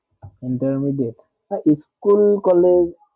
intermidiate হেঁ school college